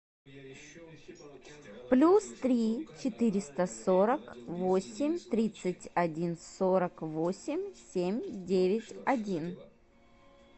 плюс три четыреста сорок восемь тридцать один сорок восемь семь девять один